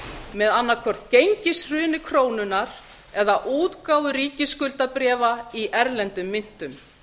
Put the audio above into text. með annaðhvort gengishruni krónunnar eða útgáfu ríkisskuldabréfa í erlendum myntum